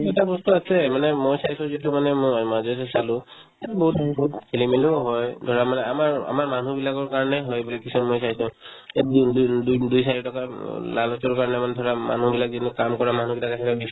এটা বস্তু আছে মানে মই চাইছো যিটো মানে মই মাজেৰে চালো ইয়াত বহুত বহুত খেলি-মেলিও হয় ধৰা মানে আমাৰ আমাৰ মানুহ বিলাকৰ কাৰণে হয় বুলি কিছুমান মই চাইছো ইয়াত দুই দুই দুই দুই চাৰি টকা উম lalas ৰ কাৰণে মানে ধৰা মানুহবিলাক যিবোৰ কাম কৰা মানুহ কেইটাক বিশ্বাস